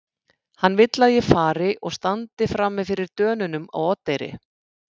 Hann vill að ég fari og standi frami fyrir Dönunum á Oddeyri.